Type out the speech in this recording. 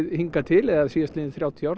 hingað til eða síðastliðin þrjátíu ár